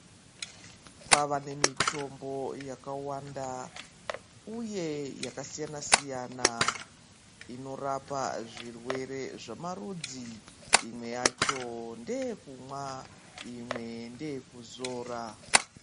Kwava nemitombo yakawanda uye yakasiyana -siyana inorapa zvirwere zvamarudzi imwe yacho ndeyeumwa imwe ndeyekuzora.